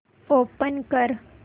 open कर